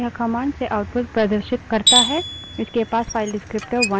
यह commands से output प्रदर्शित करता है इसके पास file descriptor विवरणक वन 1 है